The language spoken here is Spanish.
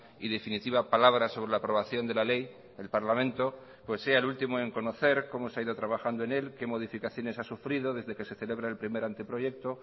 y definitiva palabra sobre la aprobación de la ley el parlamento pues sea el último en conocer cómo se ha ido trabajando en él qué modificaciones ha sufrido desde que se celebra el primer anteproyecto